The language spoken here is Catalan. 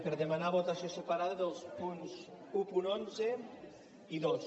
per demanar votació separada dels punts cent i onze i dos